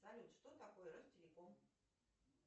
салют что такое ростелеком